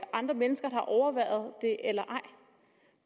andre mennesker har overværet det eller